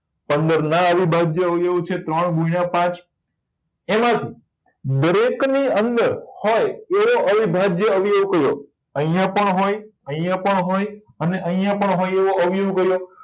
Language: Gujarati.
પંદર ના અવિભાજ્ય અવયાવીઓ છે ત્રણ ગુણ્યા પાંચ એના થી દરેક ની અંદર હોય એવો અવિભાજ્ય અવયવી કયો અહિયાં પણ હોય અહિયાં પણ હોય અને અહિયાં પણ હોય એવો અવયવી કયો